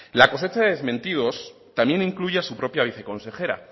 la cosecha de desmentidos también incluye a su propia viceconsejera